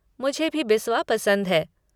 मुझे भी बिस्वा पसंद है।